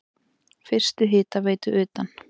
Fyrstu hitaveitu utan